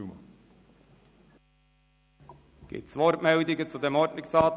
Gibt es Wortmeldungen zu diesem Ordnungsantrag?